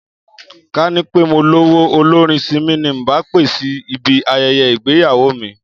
Ká ní pé mo lówó, olórin Simi ni ǹ bá pè sí ibi aye̩ye̩ ìgbéyàwó mi